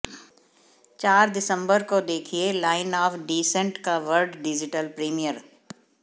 चार दिसंबर को देखिए लाइन ऑफ़ डिसेंट का वर्ल्ड डिजिटल प्रीमियर